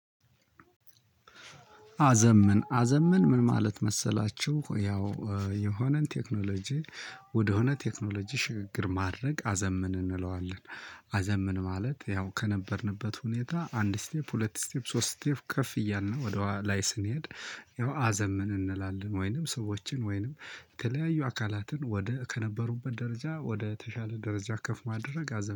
አዘምን አዘምን ምን ማለት መሰላችሁ ያው የሆነን ቴክኖሎጂ ወደሆነ ቴክኖሎጂ ሽግግር ማድረግ አዘምን እንለዋለን። አዘምን ማለት ያው ከነበርንበት ሁኔታ አንድ ስቴፕ ሁለት ስቴፕ ሶስት ስቴፕ ከፍ እያልን ወደ ላይ ስንሄድ። ያው አዘምን እንላለን ወይንም ሰዎችን ወይንም የተለያዩ አካላትን ወደ ከነበሩበት ደረጃ ወደ ተሻለ ደረጃ ከፍ ማድረግ አዘምን